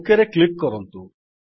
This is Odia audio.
OKରେ କ୍ଲିକ୍ କରନ୍ତୁ